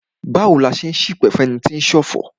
Báwo ni a ṣe n ṣipẹ̀ fún ẹni tí o ń ṣọ̀fọ̀?